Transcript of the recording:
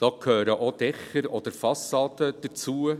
Da gehören auch Dächer oder Fassaden dazu.